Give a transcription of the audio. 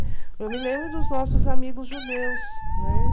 Eu me lembro dos nossos amigos judeus, né?